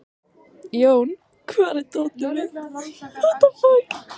Jón, hvar er dótið mitt?